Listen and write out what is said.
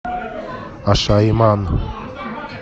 ашаиман